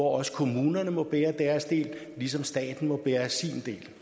også kommunerne må bære deres del ligesom staten må bære sin